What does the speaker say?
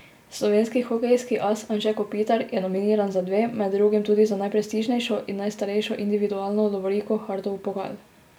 Slovenski hokejski as Anže Kopitar je nominiran za dve, med drugim tudi za najprestižnejšo in najstarejšo individualno lovoriko Hartov pokal.